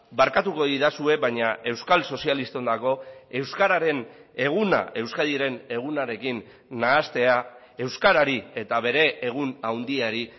barkatuko didazue baina euskal sozialisten dago euskararen eguna euskadiren egunarekin nahastea euskarari eta bere egun handiari